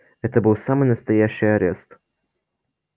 это был самый настоящий арест